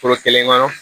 Foro kelen kɔnɔ